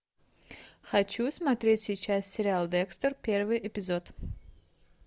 хочу смотреть сейчас сериал декстер первый эпизод